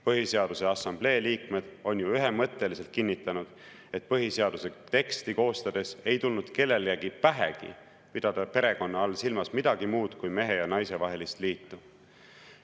Põhiseaduse Assamblee liikmed on ju ühemõtteliselt kinnitanud, et põhiseaduse teksti koostades ei tulnud kellelegi pähegi pidada perekonna all silmas midagi muud kui mehe ja naise vahelist liitu.